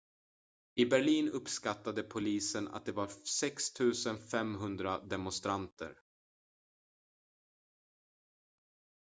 i berlin uppskattade polisen att det var 6 500 demonstranter